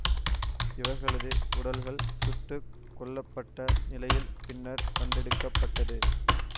இவர்களது உடல்கள் சுட்டு கொல்ல பட்ட நிலையில் பின்னர் கண்டெடுக்க பட்டது